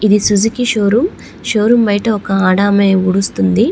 ఇది Suzuki show room show room బయట ఒక ఆడామే ఉడుస్తుంది.